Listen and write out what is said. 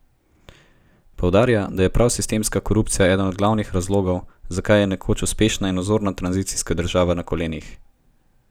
Poudarja, da je prav sistemska korupcija eden od glavnih razlogov, zakaj je nekoč uspešna in vzorna tranzicijska država na kolenih.